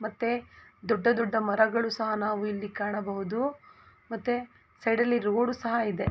ಮತ್ತೆ ದೊಡ್ಡ ದೊಡ್ಡ ಮರಗಳು ಸ ನಾವು ಇಲ್ಲಿ ಕಾಣಬಹುದು ಮತ್ತೆ ಸೈಡ್ ಳ್ಳಿ ರೋಡ್ ಸಹ ಇದೆ.